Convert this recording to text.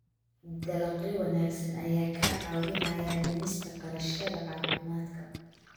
Dalagyo wanaagsan ayaa kaa caawinaya dhimista kharashyada caafimaadka.